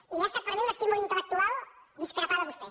i ha es·tat per a mi un estímul intel·lectual discrepar de vostè